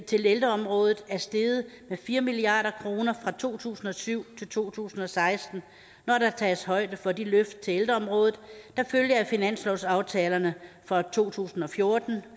til ældreområdet er steget med fire milliard kroner fra to tusind og syv til to tusind og seksten når der tages højde for de løft til ældreområdet der følger af finanslovsaftalerne for to tusind og fjorten